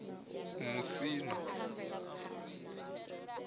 musina